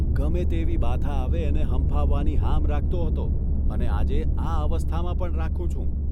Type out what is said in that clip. ગમે તેવી બાધા આવે એને હંફાવવાની હામ રાખતો હતો અને આજે આ અવસ્થામાં પણ રાખું છું.